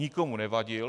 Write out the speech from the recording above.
Nikomu nevadil.